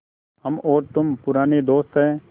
हम और तुम पुराने दोस्त हैं